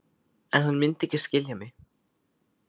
En hann mundi ekki skilja mig.